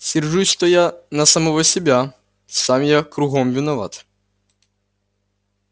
сержусь-то я на самого себя сам я кругом виноват